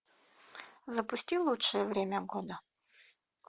запусти лучшее время года